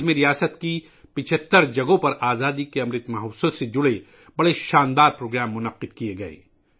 اس میں ریاست کے 75 مقامات پر آزادی کے امرت مہوتسو سے متعلق عظیم الشان پروگراموں کا انعقاد کیا گیا تھا